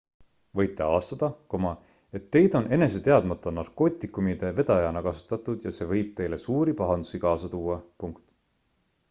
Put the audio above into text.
võite avastada et teid on enese teadmata narkootikumide vedajana kasutatud ja see võib teile suuri pahandusi kaasa tuua